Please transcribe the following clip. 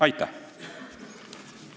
Aitäh!